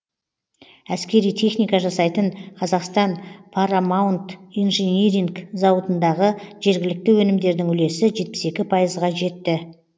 әскери техника жасайтын қазақстан парамаунт инжиниринг зауытындағы жергілікті өнімдердің үлесі жетпіс екі пайызға жетті